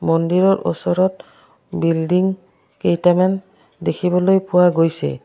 মন্দিৰৰ ওচৰত বিল্ডিং কেইটামান দেখিবলৈ পোৱা গৈছে।